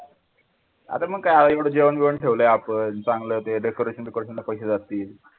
आता पण काय एवढं जेवण बिवण ठेवलंय आपण चांगलं ते decoration बी coration ला पैसे जातील.